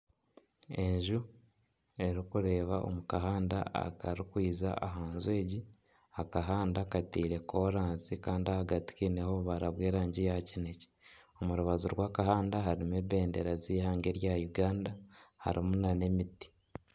Enju erikureeba omu kahanda akari kwija aha nju egi. Akahanda kateire korasi Kandi ahagati kiineho obubara bw'erangi ya kinekye. Omu rubaju rw'akahanda harimu ebendera z'ihanga erya Uganda. Harimu nana emiti.